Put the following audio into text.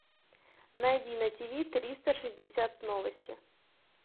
найди на тиви триста шестьдесят новости